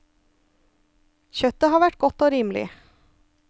Kjøttet har vært godt og rimelig.